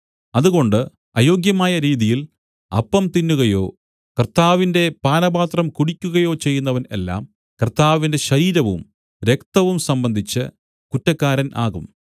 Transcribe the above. അതുകൊണ്ട് അയോഗ്യമായ രീതിയിൽ അപ്പം തിന്നുകയോ കർത്താവിന്റെ പാനപാത്രം കുടിയ്ക്കുകയോ ചെയ്യുന്നവൻ എല്ലാം കർത്താവിന്റെ ശരീരവും രക്തവും സംബന്ധിച്ച് കുറ്റക്കാരൻ ആകും